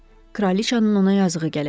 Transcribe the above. Kraliçanın ona yazığı gələcək.